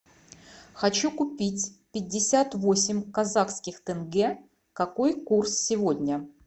хочу купить пятьдесят восемь казахских тенге какой курс сегодня